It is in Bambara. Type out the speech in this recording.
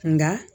Nka